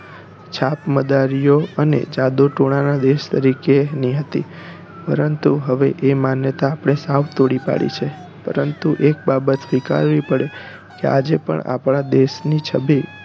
છાપ મદારીઓ અને જાદુ ટોણાં ના દેશ તરીકે ની હતી પરંતુ હવે એ માન્યતા હવે આપણે સાવ તોડી પાડી છે પરંતુ એક બાબત સ્વીકારવી પડે કે આજે પણ આપણા દેશ ની છવિ